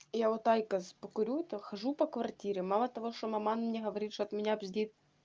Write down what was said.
я вот айкос покурю то хожу по квартире мало того что маман мне говорит что от меня бздит